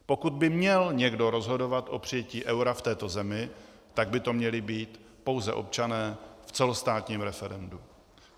Pokud by měl někdo rozhodovat o přijetí eura v této zemi, tak by to měli být pouze občané v celostátním referendu.